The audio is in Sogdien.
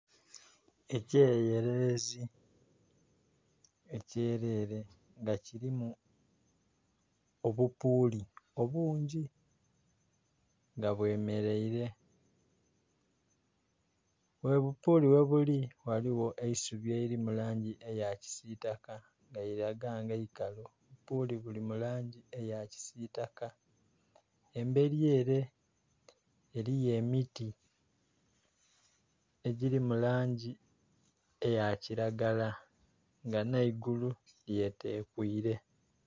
Ekyererezi ekyerere nga kirimu obupuuli obungi nga bwemereire bwe bupuuli ghebuli ghaligho eisubi nga liri mu langi eya kisitaka nga liraga nga ikalu. Obupuuli buli mu langi eya kisitaka emberi ere eriyo emiti nga giri mu langi eya kiragala nga nheigulu lyetekuile.